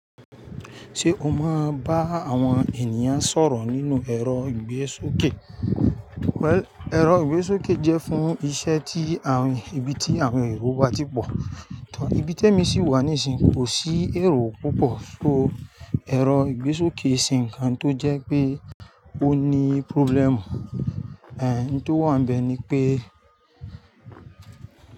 Ṣé o máa ń bá àwọn ènìyàn sọ̀rọ̀ nínú ẹ̀rọ ìgbésókè? Well, ẹ̀rọ ìgbésókè jẹ́ fún iṣẹ́ tí àwọn ibi tí àwọn èrò wá ti pọ̀. Ìbí Tẹ́mi sì wà níìsín kò sí èrò púpọ̀, so ẹ̀rọ ìgbésókè iń se nkan tó jẹ́ pé ó ní problem. Ẹ̀hẹ́n, ohun tó wà níbẹ̀ ni pé.